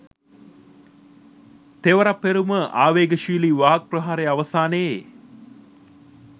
තෙවරප්පෙරුම ආවේගශීලි වාග් ප්‍රහාරය අවසානයේ